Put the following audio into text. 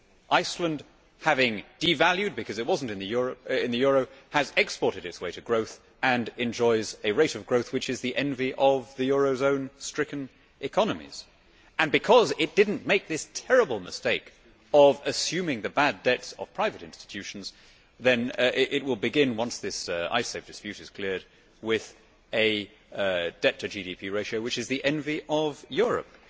Iceland having devalued because it was not in the euro has exported its way to growth and enjoys a rate of growth which is the envy of the eurozone stricken economies and because it did not make this terrible mistake of assuming the bad debts of private institutions, it will begin, once this Icesave dispute is cleared, with a debt to GDP ratio which is the envy of Europe.